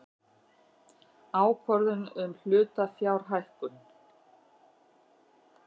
Ákvörðun um hlutafjárhækkun.